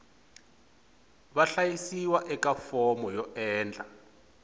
vahlayisiwa eka fomo yo endla